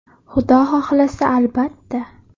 Xudo xohlasa albatta.